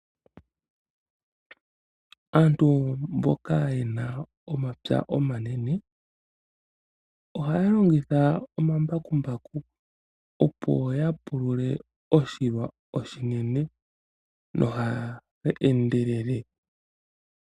Aantu mboka yena omapya omanene, ohaya longitha omambakumbaku opo ya pulule oshilwa oshinene noha ya endelele.